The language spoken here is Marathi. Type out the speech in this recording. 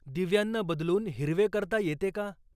दिव्यांना बदलून हिरवे करता येते का